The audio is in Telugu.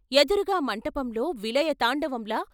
ఎదురుగా మంటపంలో విలయతాండవంలా...